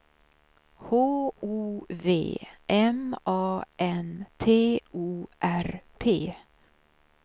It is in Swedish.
H O V M A N T O R P